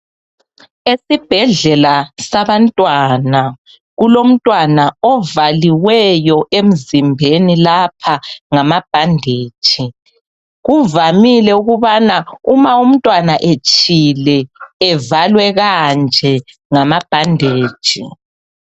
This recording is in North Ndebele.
Esibhedlela sabantwana, kulomntwana ovaliweyo emzimbeni lapha ngamabhandetshi. Kuvamile ukubana uma umntwana etshile evalwe kanje ngamabhandetshi.